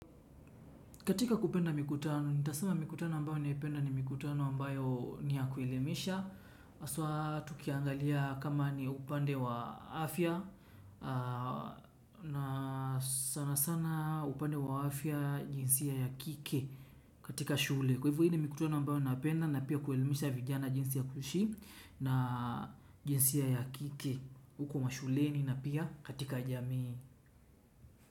Katika kupenda mikutano, nitasema mikutano ambayo naipenda ni mikutano ambayo ni ya kuelimisha. Haswa tukiangalia kama ni upande wa afya na sana sana upande wa afya jinsia ya kike katika shule. Kwa hivyo hii ni mikutano ambayo napenda na pia kuelimisha vijana jinsia ya kuishi na jinsia ya kike uko mashuleni na pia katika jamii.